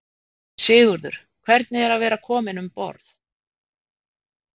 Sigurður: Hvernig er að vera komin um borð?